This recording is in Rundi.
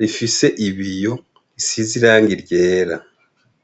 rifise ibiyo bisize irangi ryera.